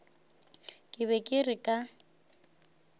ke be ke re ka